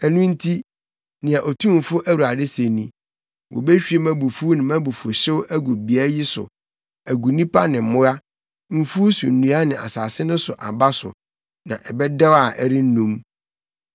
“ ‘Ɛno nti, nea Otumfo Awurade se ni: Wobehwie mʼabufuw ne mʼabufuwhyew agu beae yi so, agu nnipa ne mmoa, mfuw so nnua ne asase no so aba so, na ɛbɛdɛw a ɛrennum.’